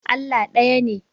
Allah ɗaya ne.